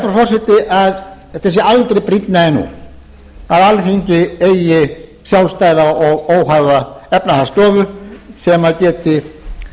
frú forseti að það sé aldrei brýnna en nú að alþingi eigi sjálfstæða og óháða efnahagsstöðusem geti